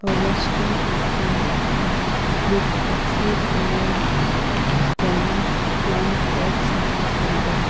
a restaurant is seen with a tree coloured brown plant pots at the centre.